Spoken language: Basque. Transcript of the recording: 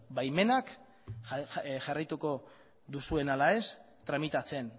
baimenak jarraituko duzuen ala ez tramitatzen